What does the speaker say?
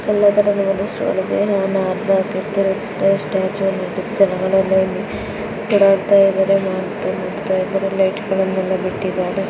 ಎಲ್ಲ ತರುವುದು ಒಂದು ಸ್ಟಾಲ್ ಇದೆ. ಓಡಾಡ್ತಾ ಇದಾರೆ ಲೈಟ್ಗಳೆಲ್ಲ ಬಿಟ್ಟಿದ್ದಾರೆ.